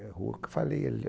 É a rua que eu falei ali